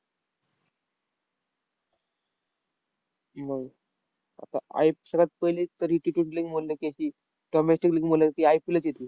हम्म आता आईप सगळ्यात पहिली म्हणलं की, अशी IPL च येत